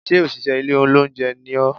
Sé òṣìṣẹ́ ilé olóúnjẹ ni ọ́?